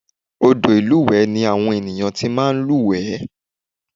Odò ìlúwẹ̀ẹ́ ni àwọn ènìyàn ti máa ń lúwẹ̀ẹ́